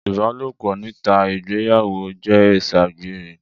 Ìbàlópọ̀ nítà ìgbeyàwo jẹ Iṣàgbẹrẹ.